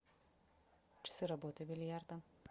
часы работы бильярда